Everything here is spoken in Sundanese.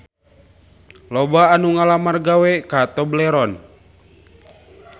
Loba anu ngalamar gawe ka Tobleron